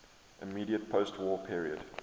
immediate postwar period